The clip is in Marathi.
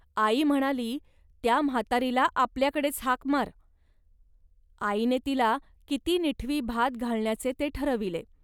आई म्हणाली, "त्या म्हातारीला आपल्याकडेच हाक मार. आईने तिला किती निठवी भात घालण्याचे ते ठरविले